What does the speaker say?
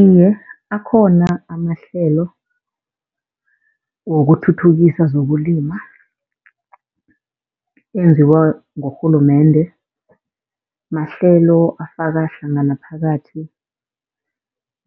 Iye, akhona amahlelo wokuthuthukisa zokulima enziwa ngurhulumende. Mahlelo afaka hlangana phakathi